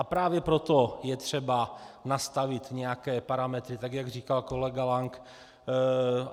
A právě proto je třeba nastavit nějaké parametry, tak jak říkal kolega Lank.